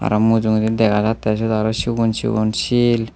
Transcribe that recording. aro mujungedi dega jattey seyot aro sigon sigon sil.